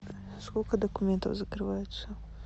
сколько документов закрывается